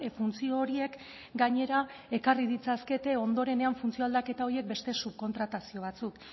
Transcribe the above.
funtzio horiek gainera ekarri ditzakete ondorenean funtzio aldaketa horiek beste subkontratazio batzuk